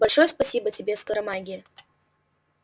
большое спасибо тебе скоромагия